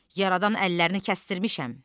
Yaradan əllərini kəstirmisən.